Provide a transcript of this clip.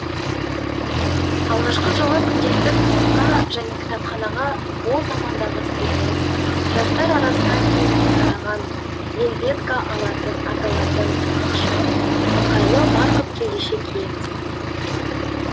алғашқы жылы күнделікті сабаққа және кітапханаға ол замандағы студент жастар арасына кеңінен тараған вельветка аталатын ықшам ыңғайлы барқыт кеудеше киеміз